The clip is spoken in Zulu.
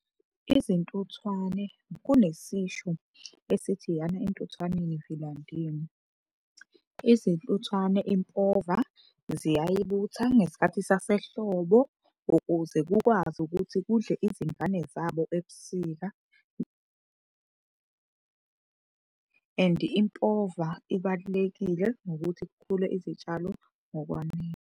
Izintuthwane, kunesisho esithi, yana entuthwaneni vila ndini. Izintuthwane impova ziyayibutha ngesikhathi sasehlobo ukuze kukwazi ukuthi kudle izingane zabo ebusika. And impova ibalulekile ngokuthi kukhule izitshalo ngokwanele.